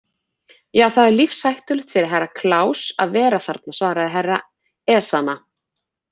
Já, það er lífshættulegt fyrir Herra Kláus að vera þarna, svaraði Herra Ezana.